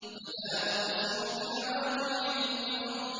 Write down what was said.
۞ فَلَا أُقْسِمُ بِمَوَاقِعِ النُّجُومِ